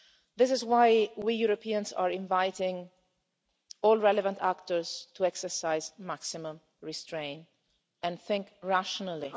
This is why we Europeans are inviting all relevant actors to exercise maximum restraint and to think rationally.